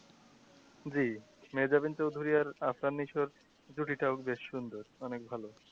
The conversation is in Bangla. জি মেয়াজাবিন চৌধুরী আর জুটি টাও বেশ সুন্দর অনেক ভালো।